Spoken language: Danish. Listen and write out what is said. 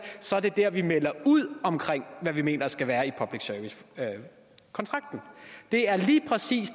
så er det der vi melder ud hvad vi mener der skal være i public service kontrakten det er lige præcis